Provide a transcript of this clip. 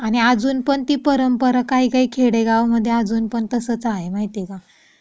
आणि अजून पण ती परंपरा काही काही खेडेगाव मध्ये अजून पण तसंच आहे माहिती का ?